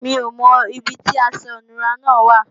Mi ò mọ ibi táṣọ ìnura náà wà